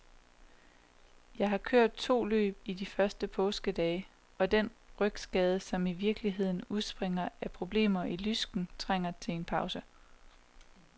Jeg har kørt to løb i de første påskedage, og den rygskade, som i virkeligheden udspringer af problemer i lysken, trængte til en pause.